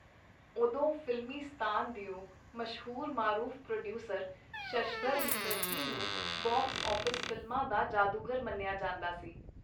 ਉਦੋਂ ਫ਼ਿਲਮਿਸਤਾਨ ਦਿਓ ਮਸ਼ਹੂਰ-ਮਾਰੂਫ ਪ੍ਰੋਡੀਊਸਰ, ਸ਼ਸ਼ਧਰ ਮੁਕਰਜੀ ਨੂੰ ਬਕਸ-ਆਫ਼ਿਸ ਫ਼ਿਲਮਾਂ ਦਾ ਜਾਦੂਗਰ ਮੰਨਿਆਂ ਜਾਂਦਾ ਸੀ.